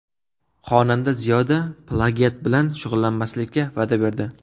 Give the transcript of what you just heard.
Xonanda Ziyoda plagiat bilan shug‘ullanmaslikka va’da berdi.